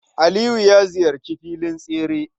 Aliyu ya ziyarci filin tsere.